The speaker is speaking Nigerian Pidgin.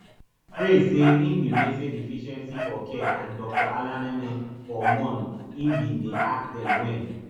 praise say im bin message efficiency for care and dr alaneme for months im bin dey ask dem wen